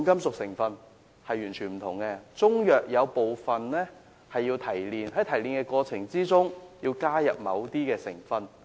部分中藥需要提煉，提煉過程中要加入某些成分。